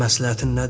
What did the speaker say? Məsləhətin nədir?